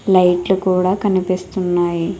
లైట్లు కూడ కనిపిస్తున్నాయి.